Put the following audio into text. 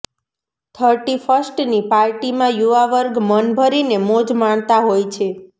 thirty ફર્સ્ટની પાર્ટીમાં યુવા વર્ગ મન ભરીને મોજ માણતા હોય છે